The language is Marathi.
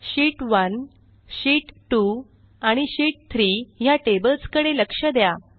शीत1 शीत2 आणि शीत3 ह्या टेबल्सकडे लक्ष द्या